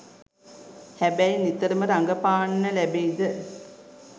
හැබැයි නිතරම රඟපාන්න ලැබෙයිද